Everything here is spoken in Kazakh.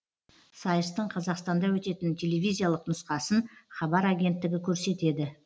сайыстың қазақстанда өтетін телевизиялық нұсқасын хабар агенттігі көрсетеді